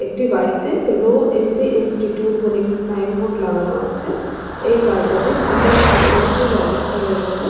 একটি বাড়িতে Roy and G institute বলে একটি সাইন বোর্ড লাগানো আছে এই বাড়িটাতে গীটার শেখানোর সু ব্যবস্থা রয়েছে।